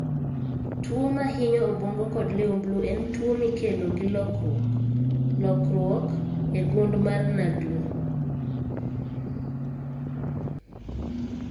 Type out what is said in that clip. Tuo mahinyo obwongo kod liumblu en tuwo mikelo gi lokruok (lokruok) e gund mar NAGLU.